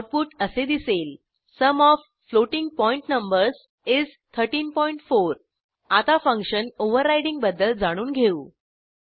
output असे दिसेल sum of floating point numbers is 134 आता फंक्शन ओव्हररायडिंग बद्दल जाणून घेऊ